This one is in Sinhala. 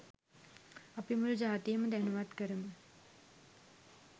අපි මුලු ජාතියම දැනුවත් කරමු